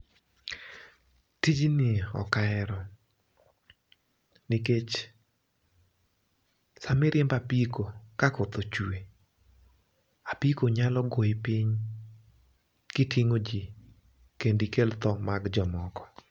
Tijni ok ahero, nikech sami riembo apiko kakoth ochwe, apiko nyalo goyi piny kiting'o jii kendo ikel tho mag jomoko.